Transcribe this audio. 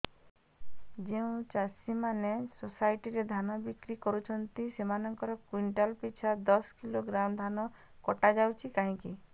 ଯେଉଁ ଚାଷୀ ମାନେ ସୋସାଇଟି ରେ ଧାନ ବିକ୍ରି କରୁଛନ୍ତି ସେମାନଙ୍କର କୁଇଣ୍ଟାଲ ପିଛା ଦଶ କିଲୋଗ୍ରାମ ଧାନ କଟା ଯାଉଛି କାହିଁକି